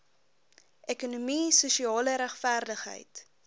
ekonomie sosiale regverdigheid